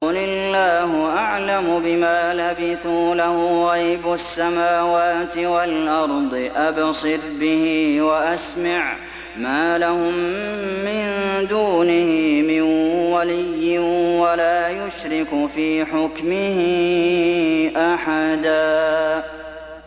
قُلِ اللَّهُ أَعْلَمُ بِمَا لَبِثُوا ۖ لَهُ غَيْبُ السَّمَاوَاتِ وَالْأَرْضِ ۖ أَبْصِرْ بِهِ وَأَسْمِعْ ۚ مَا لَهُم مِّن دُونِهِ مِن وَلِيٍّ وَلَا يُشْرِكُ فِي حُكْمِهِ أَحَدًا